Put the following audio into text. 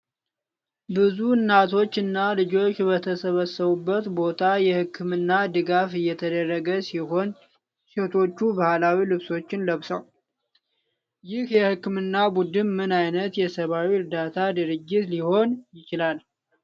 ብዙ እናቶች እና ልጆች በተሰበሰቡበት ቦታ የህክምና ድጋፍ እየተደረገ ሲሆን ሴቶቹም ባህላዊ ልብሶችን ለብሰዋል። ይህ የህክምና ቡድን ምን ዓይነት የሰብአዊ እርዳታ ድርጅት ሊሆን ይችላል?